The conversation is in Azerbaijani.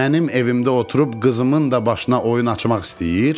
Mənim evimdə oturub qızımın da başına oyun açmaq istəyir.